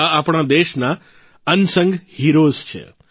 આ આપણા દેશના અનસંગ હીરોઝ છે